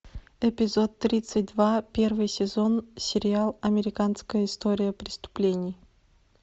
эпизод тридцать два первый сезон сериал американская история преступлений